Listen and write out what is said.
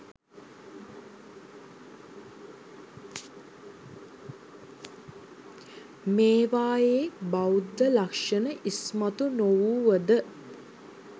මේවායේ බෞද්ධ ලක්ෂණ ඉස්මතු නොවුව ද